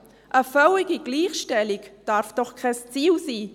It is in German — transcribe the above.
Eine völlige Gleichstellung darf doch kein Ziel sein!